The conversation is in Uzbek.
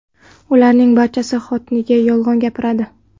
Ularning barchasi xotiniga yolg‘on gapiradi.